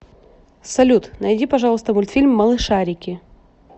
салют найди пожалуйста мультфильм малышарики